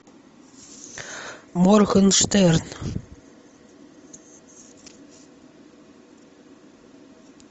моргенштерн